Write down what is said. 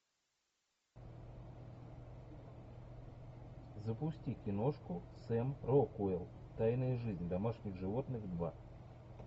запусти киношку сэм рокуэлл тайная жизнь домашних животных два